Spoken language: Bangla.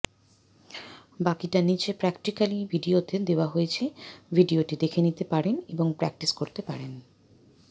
বাকিটা নিচে প্র্যাকটিক্যালি ভিডিওতে দেওয়া হয়েছে ভিডিও টি দেখে নিতে পারেন এবং প্র্যাকটিস করতে পারেন